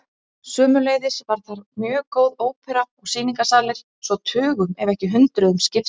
Sömuleiðis var þar mjög góð ópera og sýningarsalir svo tugum ef ekki hundruðum skipti.